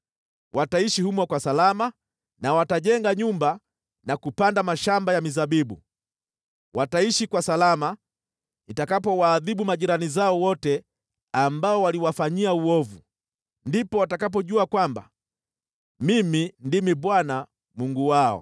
Wataishi humo kwa salama na watajenga nyumba na kupanda mashamba ya mizabibu, wataishi kwa salama nitakapowaadhibu majirani zao wote ambao waliwafanyia uovu. Ndipo watakapojua kwamba Mimi ndimi Bwana , Mungu wao.’ ”